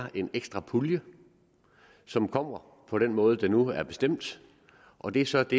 er en ekstra pulje som kommer på den måde det nu er bestemt og det er så det